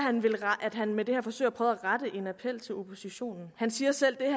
at han med det her forsøger at prøve at rette en appel til oppositionen han siger selv at